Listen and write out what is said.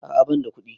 A'a banda kuɗi